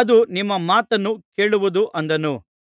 ಅದು ನಿಮ್ಮ ಮಾತನ್ನು ಕೇಳುವುದು ಅಂದನು